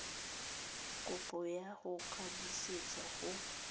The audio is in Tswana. kopo ya go ikwadisetsa go